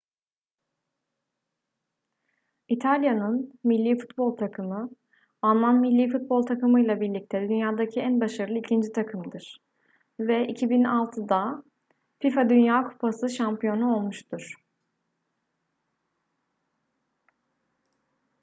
i̇talya'nın milli futbol takımı alman milli futbol takımıyla birlikte dünyadaki en başarılı ikinci takımdır ve 2006'da fifa dünya kupası şampiyonu olmuştur